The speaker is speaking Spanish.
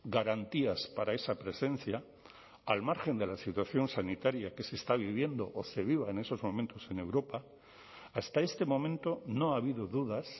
garantías para esa presencia al margen de la situación sanitaria que se está viviendo o se viva en esos momentos en europa hasta este momento no ha habido dudas